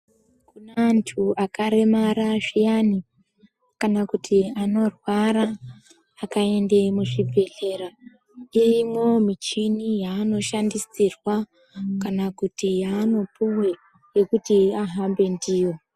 Kune antu akaremara zviyani kana kuti anorwara akaende muzvibhedhlera. Irimwo michini yaanoshandisirwa kana kuti yaanopuwe yekuti ahambe ndiyo.